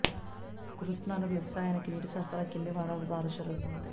కుర్నూతలలో వ్యవసాయానికి నీటి సరఫరా కింది వనరుల ద్వారా జరుగుతోంది